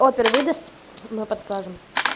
опер выдаст мы подскажем